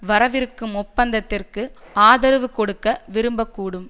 வரவிருக்கும் ஒப்பந்தத்திற்கு ஆதரவு கொடுக்க விரும்பக்கூடும்